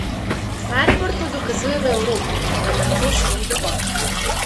Maribor to dokazuje v Evropi, vendar to še ni dovolj.